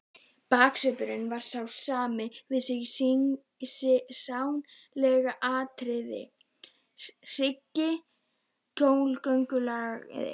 Baksvipurinn var samur við sig, slánalega aðlaðandi, og hlykkjótt göngulagið.